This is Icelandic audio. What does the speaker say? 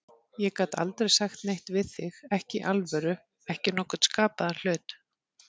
Ég gat aldrei sagt neitt við þig, ekki í alvöru, ekki nokkurn skapaðan hlut.